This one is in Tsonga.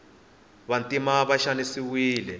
vantima va xanisiwile